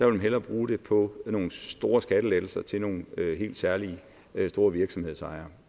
vil hellere bruge dem på nogle store skattelettelser til nogle helt særlige store virksomhedsejere